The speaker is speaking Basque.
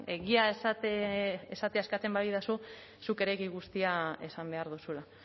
egia esatea eskatzen badidazu zuk ere egia guztia esan behar duzula